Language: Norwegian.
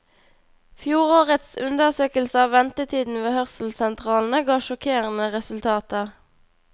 Fjorårets undersøkelse av ventetiden ved hørselssentralene ga sjokkerende resultater.